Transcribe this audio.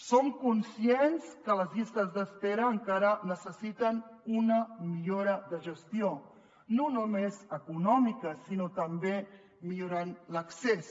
som conscients que les llistes d’espera encara necessiten una millora de gestió no només econòmica sinó també millorar ne l’accés